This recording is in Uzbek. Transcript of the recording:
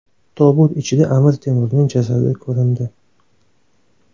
Tobut ichida Amir Temurning jasadi ko‘rindi.